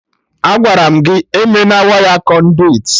Agwaram gị eme na waya Kọnduit